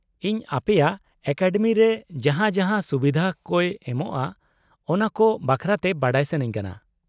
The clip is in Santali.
-ᱤᱧ ᱟᱯᱮᱭᱟᱜ ᱮᱠᱟᱰᱮᱢᱤ ᱨᱮ ᱡᱟᱦᱟᱸ ᱡᱟᱦᱟᱸ ᱥᱩᱵᱷᱤᱫᱷᱟ ᱠᱚᱭ ᱮᱢᱚᱜᱼᱟ ᱚᱱᱟᱠᱚ ᱵᱟᱠᱷᱨᱟᱛᱮ ᱵᱟᱰᱟᱭ ᱥᱟᱹᱱᱟᱹᱧ ᱠᱟᱱᱟ ᱾